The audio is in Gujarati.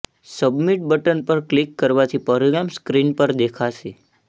સબમિટ બટન પર ક્લિક કરવાથી પરિણામ સ્ક્રીન પર દેખાશે